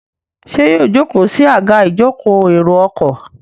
ṣe yíò joko sí Àga ìjókòó èrò ọkọ̀?